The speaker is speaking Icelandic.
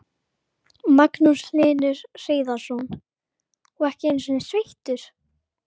Magnús Hlynur Hreiðarsson: Og ekki einu sinni sveittur?